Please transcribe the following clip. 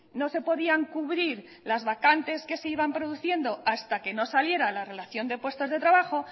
no se podían cubrir las vacantes que se iban produciendo hasta que no saliera la relación de puestos de trabajo